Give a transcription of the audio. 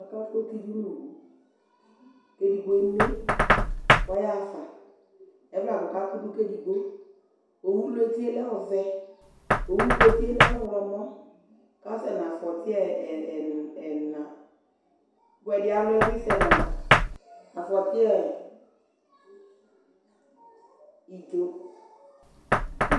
Aka ku éti du nu owũ Edigbœ mé, kɔyaƒɑ Evlɑ kɔkɑ kudu ké édigbó Oωu lu étié lɛ ɔvɛ Oωu ku étié lɛ ɔωlɔ mɔ Kɔ ṣɛ na aƒɔti ɛnă ku ɛdi aluɛ bi sɛna aƒɔti idjó